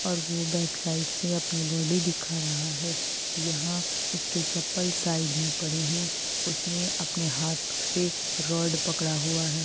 और वो back side से अपनी बॉडी दिखा रहा है यहाँ उसके चप्पल साइड में पड़े है। उसने अपने हाथ से रॉड पकड़ा हुआ है।